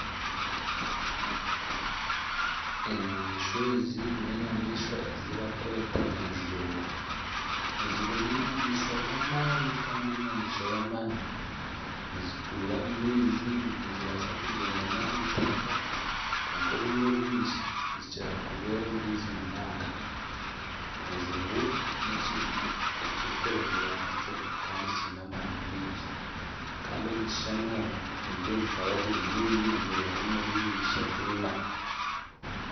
Enyamaishwa ezi n'enyamaishwa ezibakweta enjubu, enjubu n'enyamaishwa z'amaani kandi n'enyamaishwa y'amaani nizituura omu maizi nizibaasa n'okugyendera ah'eitaaka kwonka obwire obwingi nizikira kuba omu maizi munonga, enjubu n'ekintu ekirikuremera nakyo kandi kyine amaani mingi kandi omu kishushani omu nindeeba zikaba ziri nyingi nizirega omuri eibiri, ishatu, ina.